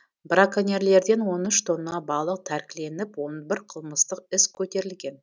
браконьерлерден он үш тонна балық тәркіленіп он бір қылмыстық іс көтерілген